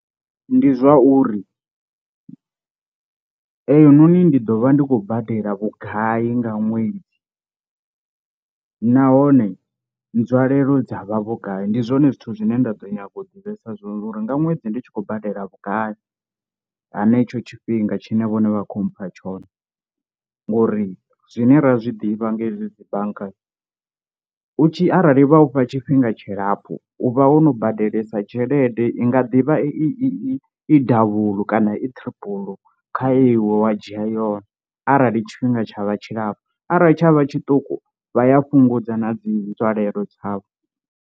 Ndi zwauri eyi noni ndi ḓo vha ndi khou badela vhugai nga ṅwedzi, nahone nzwalelo dza vha vhugai ndi zwone zwithu zwine nda ḓo nyaga u ḓivhesa zwone uri nga ṅwedzi ndi tshi khou badela vhugai henetsho tshifhinga tshine vhone vha kho mpha tshone, ngori zwine ra zwi ḓivha nga izwi dzi banngani u tshi arali vha ufha tshifhinga tshilapfu u vha wono badelesa tshelede i nga ḓivha i i davhulu kana i triple kha iwe wa dzhia yone, kharali tshifhinga tsha vha tshilapfu arali tshavha tshiṱuku vha ya fhungudza na dzi nzwalelo dzavho.